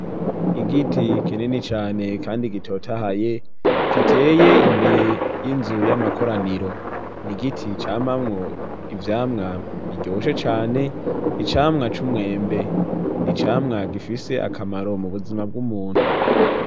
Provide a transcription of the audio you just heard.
Igiti kinini cyane kandi gitotahaye giteye imbere y'inzu y'amakoraniro ni giti camamwo ivyamwa biryoshe cane icamwa c'umwembe ni camwa gifise akamaro mu buzima bw'umuntu.